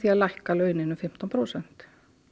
að lækka launin um fimmtán prósent